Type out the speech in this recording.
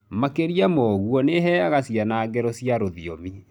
Makĩria ma ũguo, nĩ ĩheaga ciana ngero cia rũthiomi.